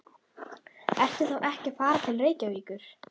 Ertu þá ekki að fara til Reykjavíkur?